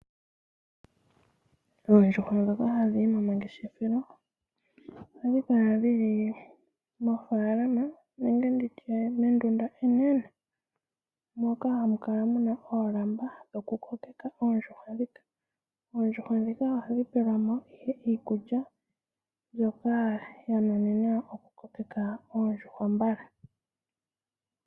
Oondjuhwa ndhoka hadhi yi gomangeshefelo ihadhi kala dhili mofaalama nenge mendunda enene moka hamu kala mun oolamba dhikukoka oondjuhwa. Ihadhi pewa iikulya mbyoka ya nuninwa okukoka oondjuhwa mbala.